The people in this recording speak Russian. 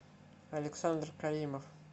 александр каримов